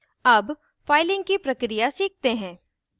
अब फाइलिंग की प्रक्रिया सीखते हैं